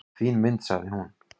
"""Fín mynd, sagði hún."""